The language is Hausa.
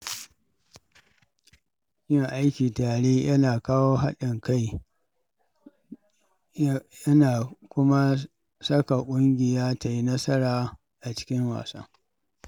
Yin aiki a tare yana kawo haɗin kai, Ya na kuma saka ƙungiya ta yi nasara a cikin wasa